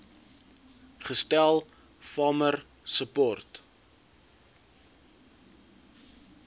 gestel farmer support